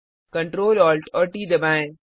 control Alt और T दबाएँ